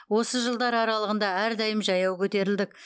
осы жылдар аралығында әрдайым жаяу көтерілдік